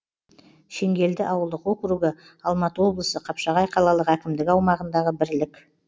шеңгелді ауылдық округі алматы облысы қапшағай қалалық әкімдігі аумағындағы бірлік